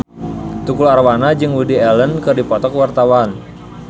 Tukul Arwana jeung Woody Allen keur dipoto ku wartawan